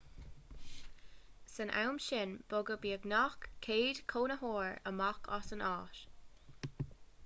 san am sin bogadh beagnach 100 cónaitheoir amach as an áit